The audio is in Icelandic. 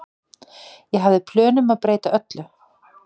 Ég hafði plön um að breyta öllu.